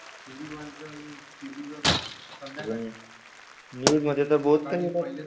News मध्ये तर बहुत काय येतात.